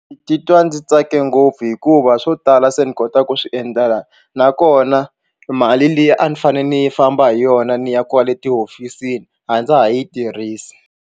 Ndzi titwa ndzi tsake ngopfu hikuva swo tala se ni kota ku swi endla nakona mali leyi a ni fanele ni yi famba hi yona ni ya kwale tihofisini a ndza ha yi tirhisi.